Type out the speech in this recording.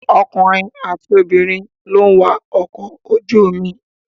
Ọkùnrin àti obìnrin lè wa ọkọ̀ ojú omi.